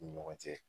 U ni ɲɔgɔn cɛ